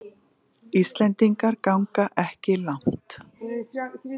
Íslendingar ganga ekki langt